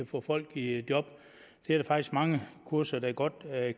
få folk i job det er der faktisk mange kurser der godt